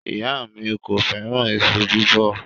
Iya mi ko feran iṣu bibo